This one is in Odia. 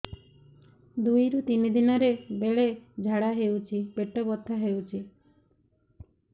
ଦୁଇରୁ ତିନି ଦିନରେ ବେଳେ ଝାଡ଼ା ହେଉଛି ପେଟ ବଥା ହେଉଛି